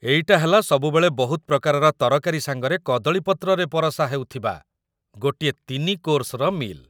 ଏଇଟା ହେଲା ସବୁବେଳେ ବହୁତ ପ୍ରକାରର ତରକାରୀ ସାଙ୍ଗରେ କଦଳୀ ପତ୍ରରେ ପରଷା ହେଉଥିବା ଗୋଟେ ୩ କୋର୍ସ୍‌ର ମିଲ୍‌ ।